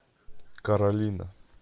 каролина